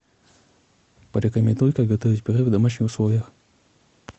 порекомендуй как готовить пюре в домашних условиях